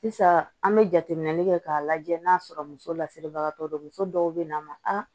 Sisan an bɛ jateminɛli kɛ k'a lajɛ n'a sɔrɔ muso lasiribagatɔ don muso dɔw bɛ na ma a